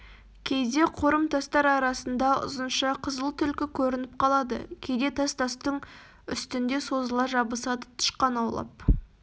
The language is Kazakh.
кейде қорым тастар арасында ұзынша қызыл түлкі көрініп қалады кейде тас-тастың үстінде созыла жабысады тышқан аулап